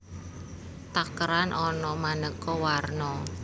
Takeran ana manéko warno